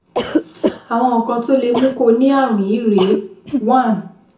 Àwọn nǹkan tó lè mú kó o ní ààrùn yìí rèé: 1